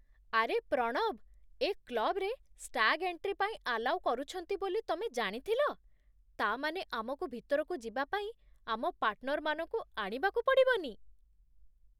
ଆରେ ପ୍ରଣବ, ଏ କ୍ଲବ୍‌ରେ ଷ୍ଟାଗ୍ ଏଣ୍ଟ୍ରି ପାଇଁ ଆଲାଉ କରୁଛନ୍ତି ବୋଲି ତମେ ଜାଣିଥିଲ? ତା' ମାନେ ଆମକୁ ଭିତରକୁ ଯିବା ପାଇଁ ଆମ ପାର୍ଟନରମାନଙ୍କୁ ଆଣିବାକୁ ପଡ଼ିବନି!